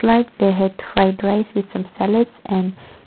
like they ate fried rice with some salads and--